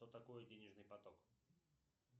что такое денежный поток